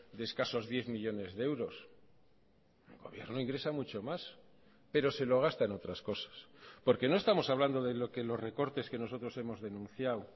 de escasos diez millónes de euros el gobierno ingresa mucho más pero se lo gasta en otras cosas porque no estamos hablando de lo que los recortes que nosotros hemos denunciado